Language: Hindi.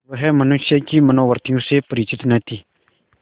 वह मनुष्य की मनोवृत्तियों से परिचित न थी